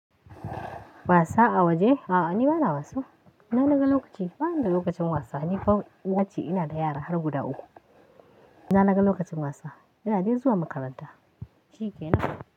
Wasa a waje? A'a ni bana wasa. Ina naga lokaci, bani da lokacin wasa. Ni fa uwa ce, ina da yara har guda uku. Ina naga lokacin wasa, ina dai zuwa makaranta. Shi ke nan.